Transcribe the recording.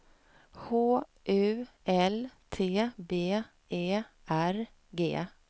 H U L T B E R G